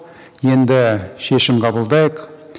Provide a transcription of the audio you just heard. енді шешім қабылдайық